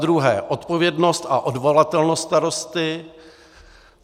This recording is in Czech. Zadruhé - odpovědnost a odvolatelnost starosty.